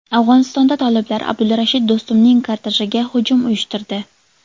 Afg‘onistonda toliblar Abdulrashid Do‘stumning kortejiga hujum uyushtirdi.